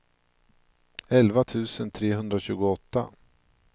elva tusen trehundratjugoåtta